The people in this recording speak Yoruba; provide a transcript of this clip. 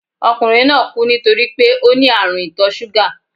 Okùnrin náà kú nítorípé óní ààrùn ìtò súgà